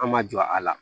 An ma jɔ a la